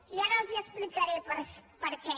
i ara els expli·caré per què